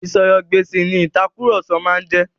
Ìsọ̀rọ̀-ǹ-gbèsì ni ìtàkurọ̀sọ máa ń jẹ́.